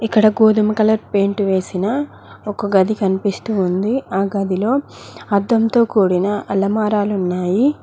ఇక్కడ గోధుమ colour paint వేసిన ఒక గది కనిపిస్తూ ఉంది ఆ గదిలో అద్దంతో కూడిన అలమారాలు ఉన్నాయి.